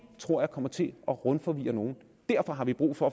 tror jeg kommer til at rundforvirre nogle derfor har vi brug for